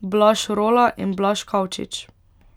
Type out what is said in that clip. Blaž Rola in Blaž Kavčič.